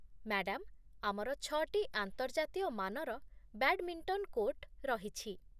madam, ଆମର ଛଅଟି ଆନ୍ତର୍ଜାତୀୟ ମାନର ବ୍ୟାଡ୍‌ମିଣ୍ଟନ୍ କୋର୍ଟ ରହିଛି